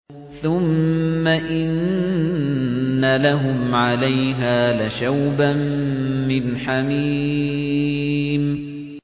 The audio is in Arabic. ثُمَّ إِنَّ لَهُمْ عَلَيْهَا لَشَوْبًا مِّنْ حَمِيمٍ